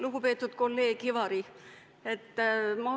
Lugupeetud kolleeg Ivari!